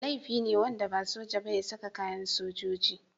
Laifi ne wanda ba soja ba ya saka kayan sojoji.